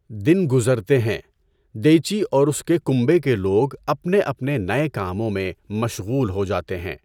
دن گزرتے ہیں، دیچی اور اسکے کنبہ کے لوگ اپنے اپنے نئے کاموں میں مشغول ہو جاتے ہیں۔